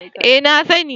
Eh, na sani